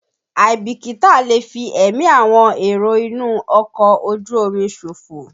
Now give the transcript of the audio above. Àìbìkítà lè fi ẹ̀mí àwọn èrò inú ọkọ̀ ojú omi ṣòfò.